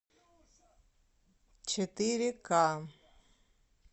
четыре ка